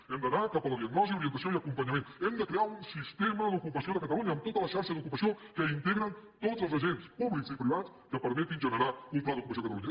hem d’anar cap a la diagnosi orientació i acompanyament hem de crear un sistema d’ocupació de catalunya amb tota la xarxa d’ocupació que integren tots els agents públics i privats que permetin generar un pla d’ocupació a catalunya